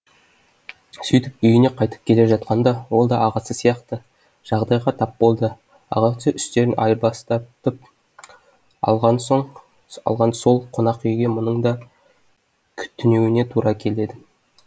сөйтіп үйіне қайтып келе жатқанда ол да ағасы сияқты жағдайға тап болды ағасы үстелін айырбастатып алған сол қонақүйге мұның да түнеуіне тура келеді